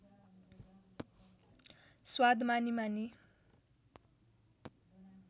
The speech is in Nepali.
स्वाद मानी मानी